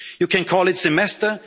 perspective. You can